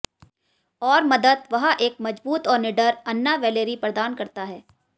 और मदद वह एक मजबूत और निडर अन्ना वैलेरी प्रदान करता है